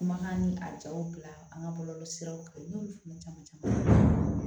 Kumakan ni a jaw bila an ka bɔlɔlɔ siraw kan n y'olu fana caman caman